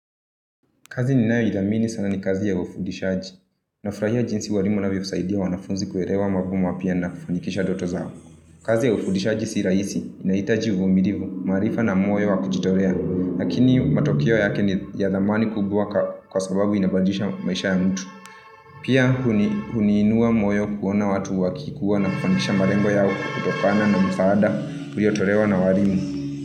Kazi ninayo idhamini sana ni kazi ya ufundishaji. Nafurahia jinsi walimu wanavyosaidia wanafunzi kuelewa mambo mapya na kufanikisha ndoto zao. Kazi ya ufundishaji sii rahisi. Inahitaji uvumilivu maarifa na moyo wa kujitolea. Lakini matokeo yake niyadhamani kubwa kwa sababu inabadilisha maisha ya mtu. Pia huniinua moyo kuona watu wakikuwa na kufanikisha malengo yao kutokana na msaada uliotolewa na walimu.